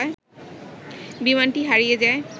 বিমানটি হারিযে যায়